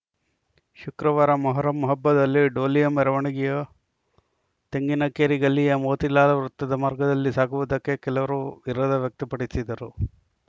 ಶುಕ್ರವಾರ ಮೊಹರಂ ಹಬ್ಬದಲ್ಲಿ ಡೋಲಿಯ ಮೆರವಣಿಗೆಯು ತೆಂಗಿನಕೇರಿ ಗಲ್ಲಿಯ ಮೋತಿಲಾಲ ವೃತ್ತದ ಮಾರ್ಗದಲ್ಲಿ ಸಾಗುವುದಕ್ಕೆ ಕೆಲವರು ವಿರೋಧ ವ್ಯಕ್ತಪಡಿಸಿದ್ದರು